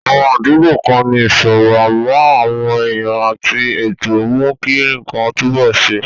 Àwọn àdúgbò kan ní ìṣòro, àmọ́ àwọn èèyàn àti ètò mú kí nǹkan túnbọ̀ ṣe.